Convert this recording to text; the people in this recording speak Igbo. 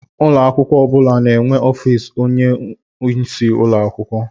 Ụlọ akwụkwọ ọ bụla na-enwe ọfịs onyeisi ụlọ akwụkwọ.